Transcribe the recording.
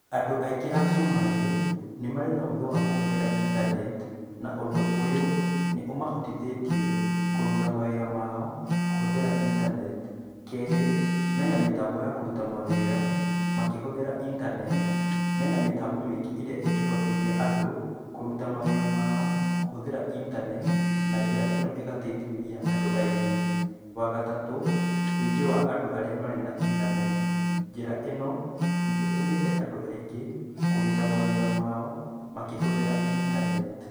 Andũ aingĩ a Cumarĩ nĩ marĩ na ũgĩ wa kũhũthĩra intaneti na ũndũ ũyũ nĩ ũmahotithĩtie kũruta mawĩra mao kũhũthĩra intaneti. Kerĩ, mena mĩtambo ya kũruta mawĩra makĩhũthĩra intaneti, me na mĩtambo mĩingĩ ĩrĩa ingĩhotithia andũ kũruta mawĩra ma o kũhũthĩra intaneti na njĩra ĩno ĩgateithĩrĩria andũ aingĩ. Wagatatũ, wĩingĩ wa andũ arĩa marĩ na intaneti, njĩra ĩno nĩ ĩtũmĩte andũ aingĩ kũrũta mawĩra mao makĩhũthĩra intaneti.